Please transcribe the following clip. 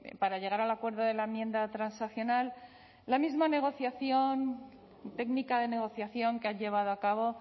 para llegar al acuerdo de la enmienda transaccional la misma negociación técnica de negociación que han llevado a cabo